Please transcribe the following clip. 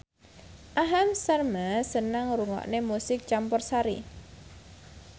Aham Sharma seneng ngrungokne musik campursari